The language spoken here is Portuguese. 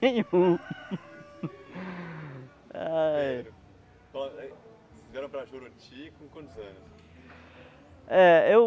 Vocês vieram para Juruti, com quantos anos? É eu